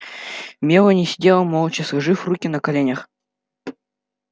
мелани сидела молча сложив руки на коленях